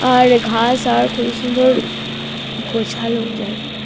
আরে ঘাস আর খুব সুন্দর গোছালো জায়গাটা।